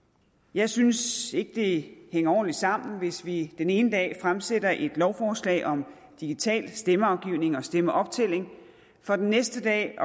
jeg synes ikke at det hænger ordentligt sammen hvis vi den ene dag fremsætter et lovforslag om digital stemmeafgivning og stemmeoptælling for den næste dag